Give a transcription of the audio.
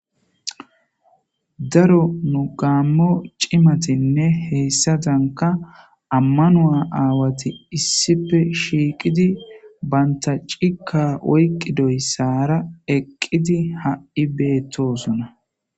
daro nu gaammo cimatinne heessadanka ammanoa aawati issife shiiqidi banta cika oyqidoysaara eqqidi ha7'i beettosona